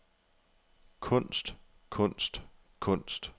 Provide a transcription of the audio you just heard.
kunst kunst kunst